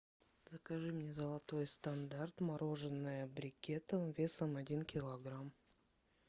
закажи мне золотой стандарт мороженое брикетом весом один килограмм